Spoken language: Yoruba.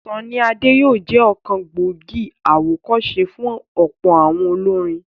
Sunny Ade yóò jẹ́ ọ̀kan gbòógì àwọ̀kọ́se fún ọ̀pọ̀ àwọn olórin.